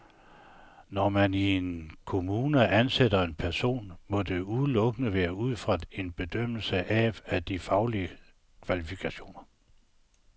Når man i en kommune ansætter en person, må det udelukkende være ud fra en bedømmelse af de faglige kvalifikationer.